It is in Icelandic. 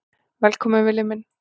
Velkominn Villi minn.